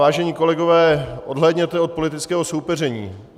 Vážené kolegové, odhlédněte od politického soupeření.